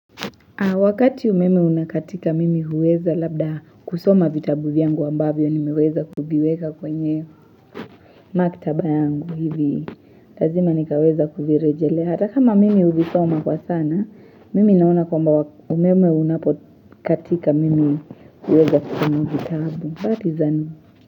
Wakati umeme unakatika mimi huweza labda kusoma vitabu vyangu ambavyo ni meweza kuviweka kwenye maktaba yangu hivi. Lazima nikaweza kuvirejelea. Hata kama mimi uvisoma kwa sana, mimi naona kwa umeme unapotika mimi huweza kusoma vitabu.